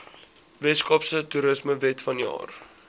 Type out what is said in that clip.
weskaapse toerismewet vanjaar